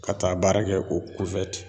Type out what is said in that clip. Ka taa baara kɛ o